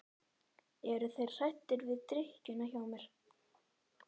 Eru þeir hræddir við drykkjuna hjá mér?